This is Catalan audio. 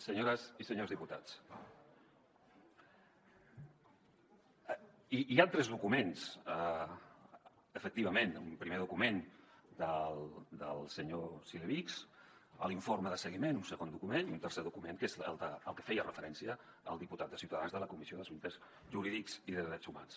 senyores i senyors diputats hi han tres documents efectivament un primer document del senyor cilevics l’informe de seguiment un segon document i un tercer document que és al que feia referència el diputat de ciutadans de la comissió d’assumptes jurídics i drets humans